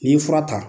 N'i ye fura ta